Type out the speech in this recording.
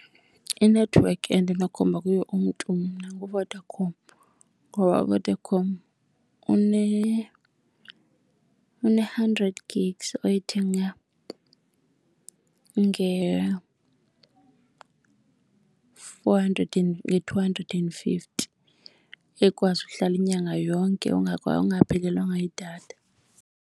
Inethiwekhi endinomkhomba kuyo umntu mna nguVodacom ngoba uVodacom une-hundred gigs oyithenga nge-four hundred and, nge-two hundred and fifty ekwazi ukuhlala inyanga yonke ungaphelelwanga yidatha.